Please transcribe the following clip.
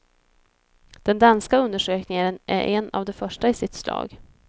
Den danska undersökningen är en av de första i sitt slag.